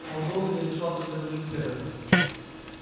он долго не решался заговорить первым